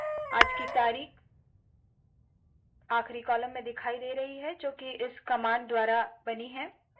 आज की तारीख आखरी कॉलम दिखाई दे रहे है जोकि इस कमांड द्वारा बनी है